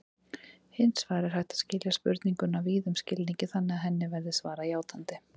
Hins vegar er hægt að skilja spurninguna víðum skilningi þannig að henni verði svarað játandi.